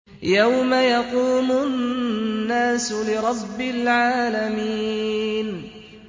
يَوْمَ يَقُومُ النَّاسُ لِرَبِّ الْعَالَمِينَ